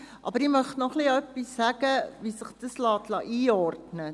Aber ich möchte noch etwas dazu sagen, wie sich dieser Antrag einordnen lässt.